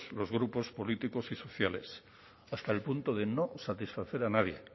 los grupos políticos y sociales hasta el punto de no satisfacer a nadie